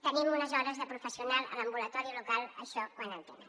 tenim unes hores de professional a l’ambulatori local això quan en tenen